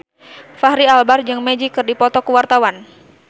Fachri Albar jeung Magic keur dipoto ku wartawan